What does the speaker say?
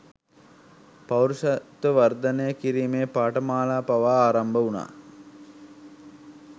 පෞරුෂත්ව වර්ධනය කිරීමේ පාඨමාලා පවා ආරම්භ වුණා